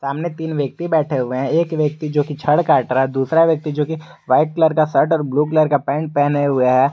सामने तीन व्यक्ति बैठे हुए हैं एक व्यक्ति जो की छड़ काट रहा है दूसरा व्यक्ति जो की वाइट कलर का शर्ट और ब्लू कलर का पहने हुए है।